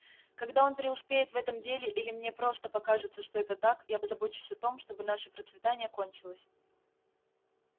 когда он преуспеет в этом деле или мне просто покажется что это так я позабочусь о том чтобы наше процветание окончилось